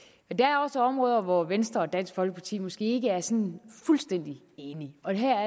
men der er også områder hvor venstre og dansk folkeparti måske ikke er sådan fuldstændig enige og det her